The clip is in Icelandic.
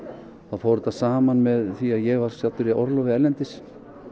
fór þetta saman með því að ég var staddur í orlofi erlendis